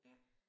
Ja